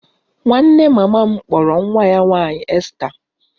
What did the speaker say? Nwanne mama m kpọrọ nwa ya nwaanyị Esther